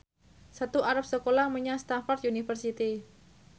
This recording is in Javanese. Setu arep sekolah menyang Stamford University